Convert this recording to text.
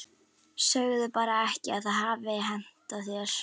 Segðu bara ekki að það hafi hentað þér.